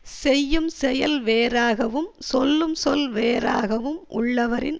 செய்யும் செயல் வேறாகவும் சொல்லும் சொல் வேறாகவும் உள்ளவரின்